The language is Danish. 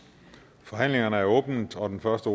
forhandlingen er åbnet og den første